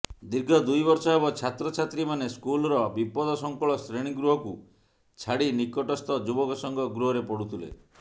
ଦୀର୍ଘ ଦୁଇ ବର୍ଷ ହେବ ଛାତ୍ରଛାତ୍ରୀମାନେ ସ୍କୁଲ୍ର ବିପଦସଙ୍କୁୁଳ ଶ୍ରେଣୀଗୃହକୁ ଛାଡ଼ି ନିକଟସ୍ଥ ଯୁବକସଂଘ ଗୃହରେ ପଢୁଥିଲେ